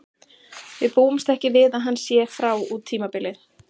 Við búumst ekki við að hann sé frá út tímabilið.